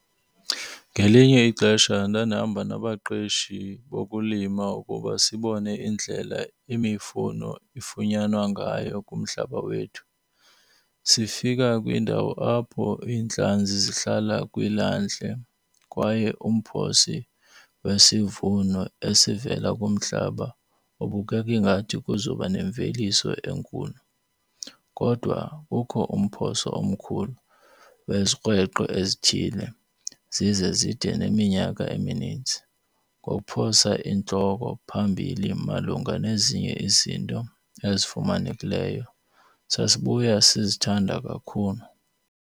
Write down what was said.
Ngelinye ixesha ndandihamba nabaqeshi bokulima ukuba sibone indlela imifuno ifunyanwa ngayo kumhlaba wethu. Sifika kwindawo apho iintlanzi zihlala kwilwandle kwaye umphosi wesivuno esivela kumhlaba ubukeke ingathi kuzoba nemveliso enkulu. Kodwa kukho umphoso omkhulu wezikrweqe ezithile zize zide neminyaka eminintsi ngokuphosa intloko phambili malunga nezinye izinto ezifumanekileyo. Sasibuya sizithanda kakhulu.